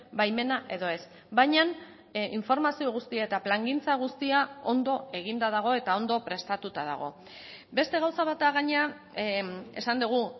baimena edo ez baina informazio guztia eta plangintza guztia ondo eginda dago eta ondo prestatuta dago beste gauza bat da gainera esan dugu